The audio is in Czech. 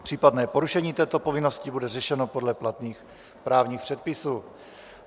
Případné porušení této povinnosti bude řešeno podle platných právních předpisů.